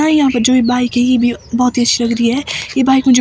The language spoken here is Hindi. यहां पर जो ये बाइक है ये भी बहुत ही अच्छी लग रही है ये बाइक मुझे--